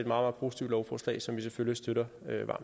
meget positivt lovforslag som vi selvfølgelig støtter